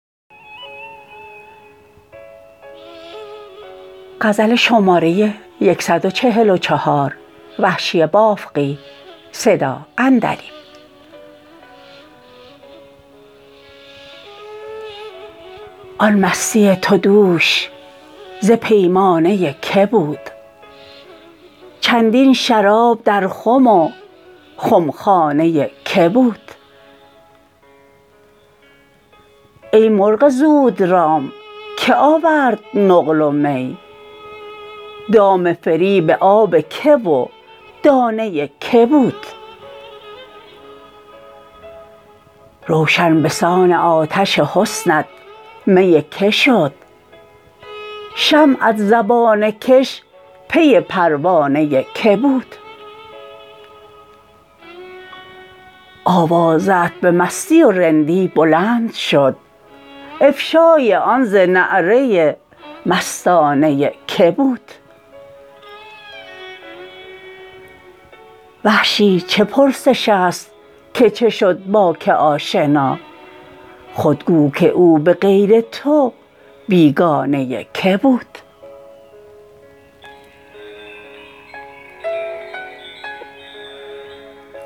آن مستی تو دوش ز پیمانه که بود چندین شراب در خم و خمخانه که بود ای مرغ زود رام که آورد نقل و می دام فریب آب که و دانه که بود روشن بسان آتش حسنت می که شد شمعت زبانه کش پی پروانه که بود آوازه ات به مستی و رندی بلند شد افشای آن ز نعره مستانه که بود وحشی چه پرسش است که شد با که آشنا خود گو که او به غیر تو بیگانه که بود